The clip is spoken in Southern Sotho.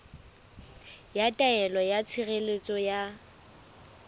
ya taelo ya tshireletso ya